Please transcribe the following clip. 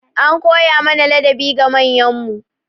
An koya mana ladabi ga manyan mu.